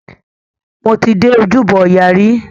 Mo ti dé Ojúbọ ọya rí.